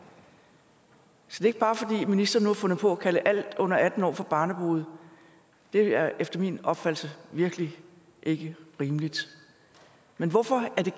så er det ikke bare fordi ministeren nu har fundet på at kalde alle under atten år for barnebrude det er efter min opfattelse virkelig ikke rimeligt men hvorfor er det